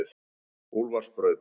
Úlfarsbraut